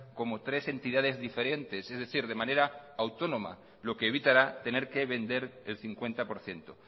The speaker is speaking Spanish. como tres entidades diferentes es decir de manera autónoma lo que evitará tener que vender el cincuenta por ciento